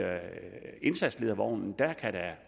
indsatsledervognen